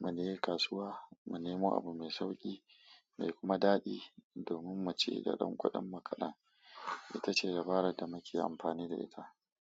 mu je kasuwa, mu nemo abu mai sauƙi mai kuma daɗi. Domin mu ci da ɗan kuɗin kaɗan, ita ce dabarar da muke amfani da ita.